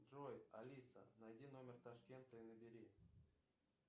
джой алиса найди номер ташкента и набери